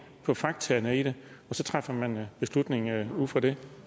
på faktaene i det og så træffer man beslutningen ud fra det